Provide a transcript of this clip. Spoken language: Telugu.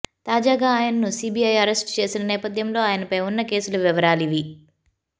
తాజాగా ఆయన్ను సీబీఐ అరెస్టు చేసిన నేపథ్యంలో ఆయనపై ఉన్న కేసుల వివరాలివీ